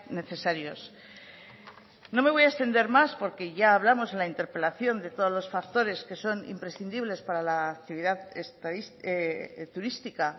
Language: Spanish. necesarios no me voy a extender más porque ya hablamos en la interpelación de todos los factores que son imprescindibles para la actividad turística